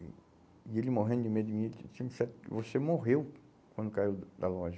E e ele morrendo de medo de mim, disse, me disseram que você morreu quando caiu da loja.